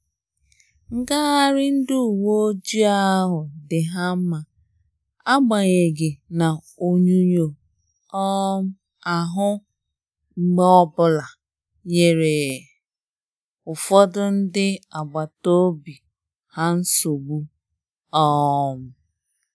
Ngagharị ndị uwe ojii ahụ dị ha mma, agbanyeghi na onyunyo um ahụ mgbe ọbụla nyere ụfọdụ ndị agbata obi ha nsogbu um